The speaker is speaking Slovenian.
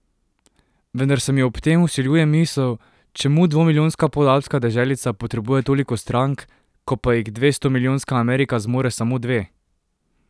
Vendar se mi ob tem vsiljuje misel, čemu dvomilijonska podalpska deželica potrebuje toliko strank, ko pa jih dvestomilijonska Amerika zmore samo dve?